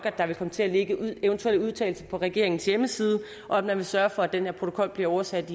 at der vil komme til at ligge eventuelle udtalelser på regeringens hjemmeside og at man vil sørge for at den her protokol bliver oversat